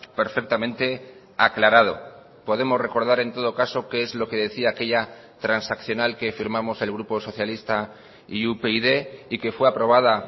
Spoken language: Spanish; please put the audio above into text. perfectamente aclarado podemos recordar en todo caso qué es lo que decía aquella transaccional que firmamos el grupo socialista y upyd y que fue aprobada